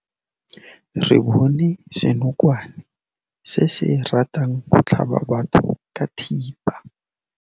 Re bone senokwane se se ratang go tlhaba batho ka thipa.